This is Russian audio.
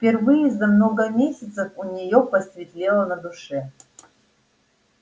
впервые за много месяцев у нее посветлело на душе